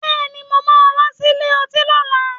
Bẹ́ẹ̀ni, mo máa wá sílè ọtí lọ́la